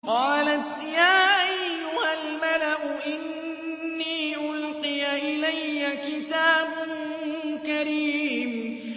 قَالَتْ يَا أَيُّهَا الْمَلَأُ إِنِّي أُلْقِيَ إِلَيَّ كِتَابٌ كَرِيمٌ